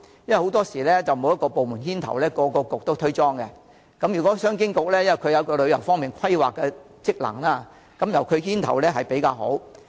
若沒有一個部門牽頭，各政策局會推卸責任，而商務及經濟發展局有旅遊規劃的職能，由該局牽頭會較好。